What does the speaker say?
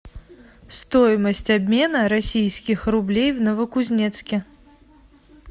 стоимость обмена российских рублей в новокузнецке